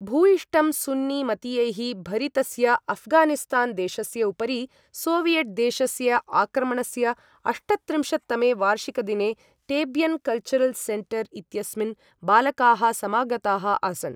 भूयिष्टं सुन्नी मतीयैः भरितस्य अफ्गानिस्तान् देशस्य उपरि सोवियट् देशस्य आक्रमणस्य अष्टत्रिंशत् तमे वार्षिकदिने टेब्यन् कल्चरल् सेन्टर् इत्यस्मिन् बालकाः समागताः आसन्।